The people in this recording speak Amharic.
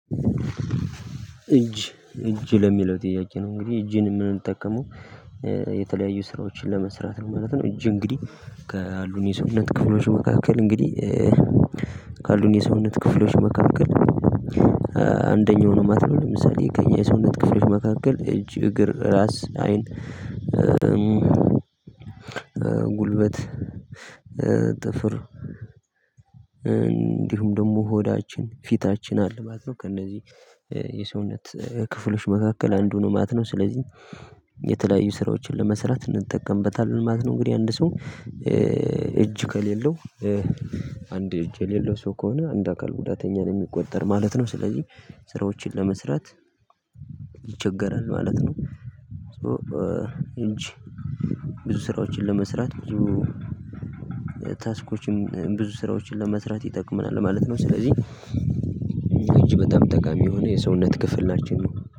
እጅ እጅ ለሚለው ጥያቄ ነው እንግዲህ እጅን የምንጠቀመው የተለያዩ ስራዎችን ለመስራት ነው ማለት ነው። እጅ እንግዲህ ካሉን የሰውነት ክፍሎች መካከል እንግዲህ ካሉን የሰውነት ክፍሎች መካከል አንደኛው ነው ማለት ነው ለምሳሌ ከእኛ የሰውነት ክፍሎች መካከል እጅ እግር ራስ አይን ጉልበት ጥፍር እንዲሁም ደግሞ ሆዳችን ፊታችን አለ ማለት ነው ከእነዚህ የሰውነት ክፍሎች መካከል አንዱ ነው ማለት ነው። ስለዚህ የተለያዩ ስራዎችን ለመስራት እንጠቀምበታለን ማለት ነው። እንግዲህ አንድ ሰው እጅ ከሌለው አንድ እጅ የሌለው ሰው ከሆነ አንደ አካል ጉዳተኛ ነው የሚቆጠር ማለት ነው። ስለዚህ ስራዎችን ለመስራት ይቸገራል ማለት ነው። እጅ ብዙ ስራዎችን ለመስራት ብዙ ታስኮችም ብዙ ስራዎችን ለመስራት ይጠቅመናል ማለት ነው። ስለዚህ እጅ በጣም ጠቃሚ የሆነ የሰውነት ክፍላችን ነው